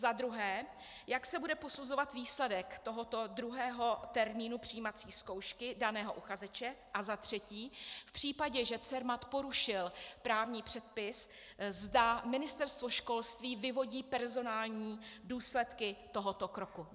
Za druhé, jak se bude posuzovat výsledek tohoto druhého termínu přijímací zkoušky daného uchazeče a za třetí, v případě, že Cermat porušil právní předpis, zda Ministerstvo školství vyvodí personální důsledky tohoto kroku.